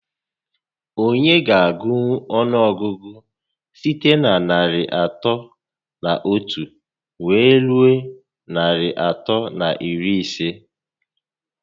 Onye ga agụnwu ọnụọgụgụ site na narị atọ na otu wee rue narị atọ na iri ise?